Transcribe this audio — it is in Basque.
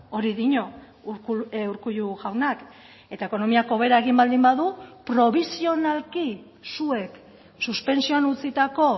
hori dio urkullu jaunak eta ekonomiak hobera egin baldin badu probisionalki zuek suspentsioan utzitako